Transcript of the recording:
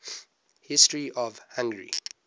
history of hungary